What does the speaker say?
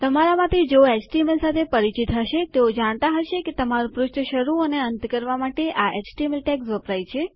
તમારા માંથી જેઓ એચટીએમએલ સાથે પરિચિત હશે તેઓ જાણતા હશે કે તમારું પૃષ્ઠ શરૂ અને અંત કરવા માટે આ એચટીએમએલ ટૅગ્સ વપરાય છે